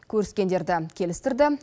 көріскендерді келістірді